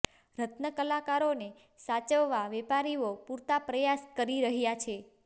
રત્નકલાકારોને સાચવવા વેપારીઓ પૂરતા પ્રયાસ કરી રહ્યાં છે